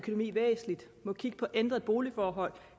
må kigge på ændrede boligforhold